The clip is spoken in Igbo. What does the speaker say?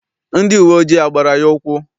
Ndị uwe ojii agbara ya ụkwụ?